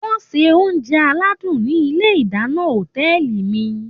Wọ́n ń se oúnjẹ aládùn ní ilé ìdáná òtẹ́ẹ̀lì mi